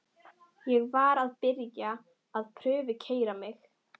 Ég var að byrja að prufukeyra mig.